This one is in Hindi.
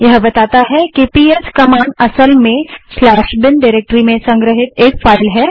यह बताता है कि पीएस कमांड असल में स्लैश बिन डाइरेक्टरी में संग्रहित एक फाइल है